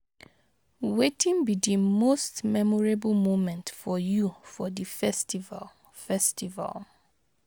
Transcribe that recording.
wetin be di most memorable moment for you for di festival? festival?